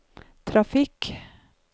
trafikk